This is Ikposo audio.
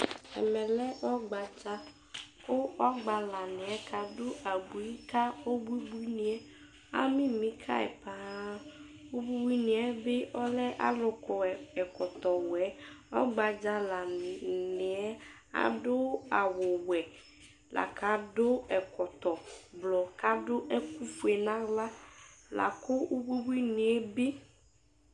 Ɛmɛ lɛ ɔgbádzà Kʊ ɔgbalanɩɛ kadʊ abʊɩ ka ʊbʊbʊɩnɩe, amimi kayɩ blaa Ʊbʊbʊɩnɩe bɩ lɛ alʊ kɔ ɛkɔtɔwɛ Ɔgbadzalanɩɛ ladʊ awʊwɛ lakadʊ ɛkɔtɔ blɔ kʊadʊ ɛkʊfoe nʊ aɣla Lakʊ ʊbʊbʊɩnɩ bɩ